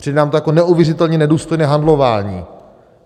Přijde nám to jako neuvěřitelně nedůstojné handlování.